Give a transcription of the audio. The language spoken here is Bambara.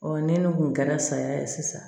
ne n'u kun kɛra saya ye sisan